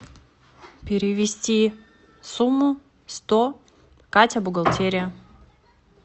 перевести сумму сто катя бухгалтерия